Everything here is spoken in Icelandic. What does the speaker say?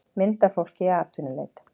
mynd af fólki í atvinnuleit